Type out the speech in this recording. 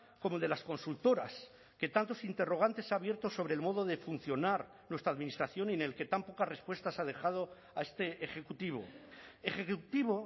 como el de las consultoras que tantos interrogantes ha abierto sobre el modo de funcionar nuestra administración y en el que tan pocas respuestas ha dejado a este ejecutivo ejecutivo